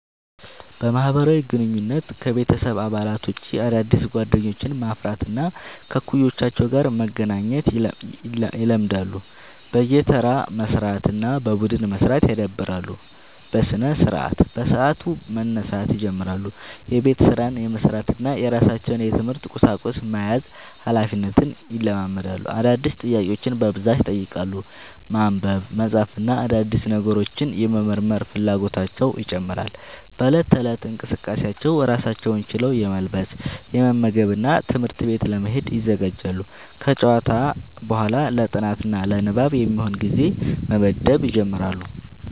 በማህበራዊ ግንኙነት: ከቤተሰብ አባላት ውጭ አዳዲስ ጓደኞችን ማፍራት እና ከእኩዮቻቸው ጋር መገናኘት ይለምዳሉ። በየተራ መስራት እና በቡድን መስራት ያዳብራሉ። በስነስርዓት : በሰዓቱ መነሳት ይጀምራሉ። የቤት ስራን የመስራት እና የራሳቸውን የትምህርት ቁሳቁስ መያዝ ሀላፊነትን ይለማመዳሉ። አዳዲስ ጥያቄዎችን በብዛት ይጠይቃሉ። ማንበብ፣ መጻፍ እና አዳዲስ ነገሮችን የመመርመር ፍላጎታቸው ይጨምራል።. በእለት ተእለት እንቅስቃሴዎች: ራሳቸውን ችለው የመልበስ፣ የመመገብ እና ትምህርት ቤት ለመሄድ ይዘጋጃሉ። ከጨዋታ በኋላ ለ ጥናት እና ንባብ የሚሆን ጊዜ መመደብ ይጀምራሉ።